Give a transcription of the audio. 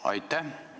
Aitäh!